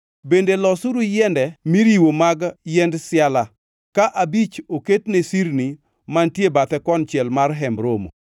“Bende losuru yiende miriwo mag yiend siala; ka abich oket ne sirni mantie bathe konchiel mar Hemb Romo,